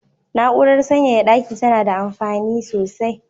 Na'urar sanyaya daki tana da amfini sosai.